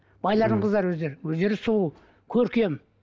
байлардың қыздары өздері өздері сұлу көркем